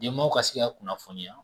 Denbaw ka se ka kunnafoniya